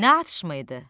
Nə atışma idi?